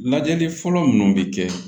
Lajɛli fɔlɔ minnu bɛ kɛ